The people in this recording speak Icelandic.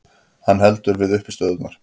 Hann heldur við uppistöðurnar.